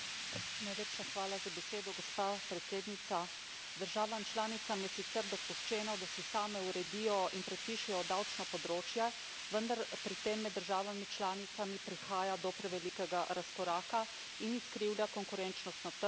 Državam članicam je sicer dopuščeno, da si same uredijo in predpišejo davčna področja, vendar pri tem med državami članicami prihaja do prevelikega razkoraka in izkrivlja konkurenčnost na trgu in slabi proračune nekaterih držav članic.